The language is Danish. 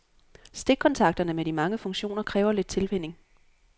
Stikkontakterne med de mange funktioner kræver lidt tilvænning.